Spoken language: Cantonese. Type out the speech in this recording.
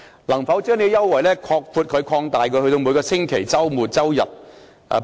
能否將這項優惠擴大至每個周末及周日？